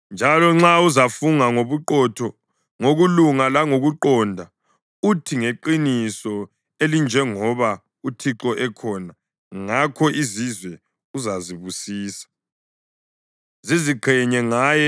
njalo nxa uzafunga ngobuqotho, ngokulunga langokuqonda, uthi, ‘Ngeqiniso elinjengoba uThixo ekhona,’ ngakho izizwe uzazibusisa ziziqhenye ngaye.”